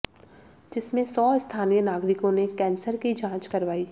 जिसमें सौ स्थानीय नागरिकों ने कैन्सर की जांच करवाई